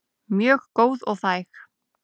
Mjög góð og þæg.